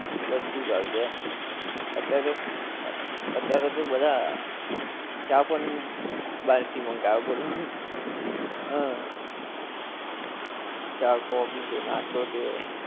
બધુજ આવી જાએ આમ અતિયારે અતિયારે તો બધાં ચા પણ બાર થી મંગાવે બોલો હ ચા કોફી છે નાસ્તો છે